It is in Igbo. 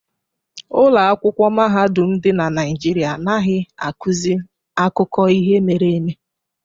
Ụlọ akwụkwọ mahadum dị na Naijiria anaghị akụzi akụkọ ihe mere eme